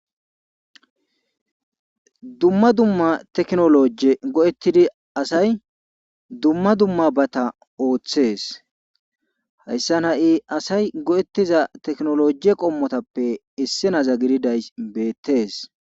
Dumma dumma tekinoloje xaqametidi asay dumma dummabata ooththes. hayssan hay asay xaqametida tekinloje qommotappe issinoza gididaysi beetees.